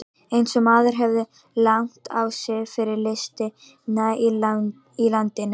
Eins og maðurinn hefur lagt á sig fyrir listina í landinu!